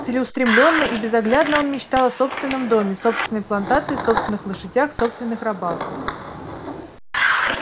целеустремлённо и безоглядно он мечтал о собственном доме собственной плантации собственных лошадях собственных рабах